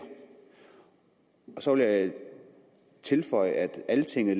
så vil jeg tilføje at altinget